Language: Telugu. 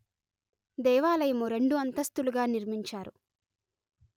దేవాలయము రెండు అంతస్తులుగా నిర్మించారు